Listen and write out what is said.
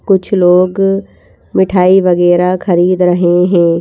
कुछ लोग मिठाई वगैरह खरीद रहे हैं।